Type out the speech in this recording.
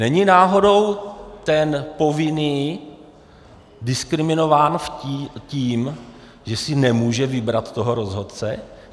Není náhodou ten povinný diskriminován tím, že si nemůže vybrat toho rozhodce?